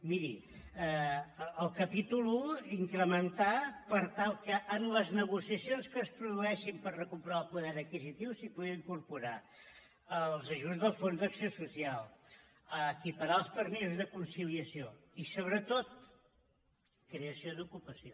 miri el capítol i incrementar per tal que en les negociacions que es produeixin per recuperar el poder adquisitiu s’hi pugui incorporar els ajuts del fons d’acció social equiparar els permisos de conciliació i sobretot creació d’ocupació